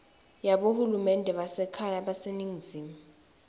yabohulumende basekhaya baseningizimu